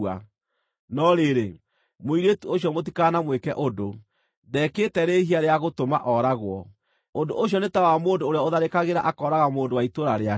No rĩrĩ, mũirĩtu ũcio mũtikanamwĩke ũndũ; ndeekĩte rĩhia rĩa gũtũma ooragwo. Ũndũ ũcio nĩ ta wa mũndũ ũrĩa ũtharĩkagĩra akooraga mũndũ wa itũũra rĩake,